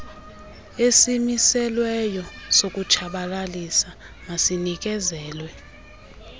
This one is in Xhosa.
esimiselweyo sokutshabalalisa masinikezelwe